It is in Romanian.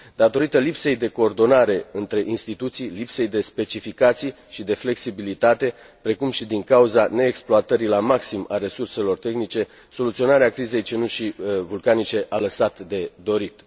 datorită lipsei de coordonare între instituții, lipsei de specificații și de flexibilitate, precum și din cauza neexploatării la maxim a resurselor tehnice soluționarea crizei cenușei vulcanice a lăsat de dorit.